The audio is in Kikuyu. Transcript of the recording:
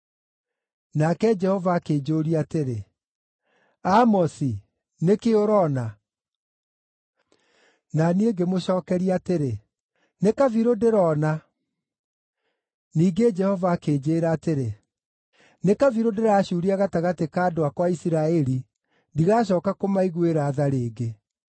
Nake Jehova akĩnjũũria atĩrĩ, “Amosi, nĩ kĩĩ ũroona”? Na niĩ ngĩmũcookeria atĩrĩ: “Nĩ kabirũ ndĩrona.” Ningĩ Jehova akĩnjĩĩra atĩrĩ, nĩ kabirũ ndĩracuuria gatagatĩ ka andũ akwa a Isiraeli, ndigacooka kũmaiguĩra tha rĩngĩ.